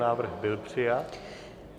Návrh byl přijat.